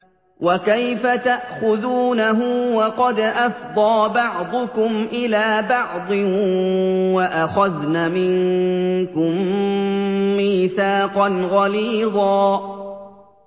وَكَيْفَ تَأْخُذُونَهُ وَقَدْ أَفْضَىٰ بَعْضُكُمْ إِلَىٰ بَعْضٍ وَأَخَذْنَ مِنكُم مِّيثَاقًا غَلِيظًا